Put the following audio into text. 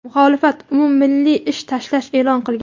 Muxolifat umummilliy ish tashlash e’lon qilgan.